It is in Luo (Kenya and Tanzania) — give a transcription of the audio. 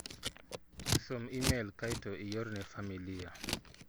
Som imel kae to iore ne familia.